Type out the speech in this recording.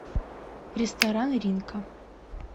ресторан ринкан